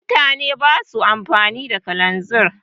mutane ba sa amfani da kalanzir